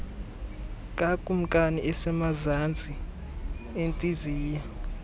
kakumkani osemazantsi entliziyo